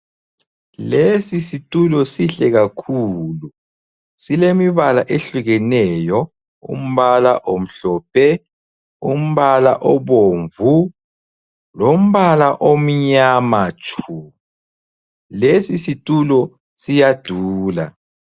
Lesisitulo sihle kakhulu, silemibala ehlukeneyo. Umbala omhlophe, umbala obomvu lombala omnyama tshu. Lesisitulo siyadula.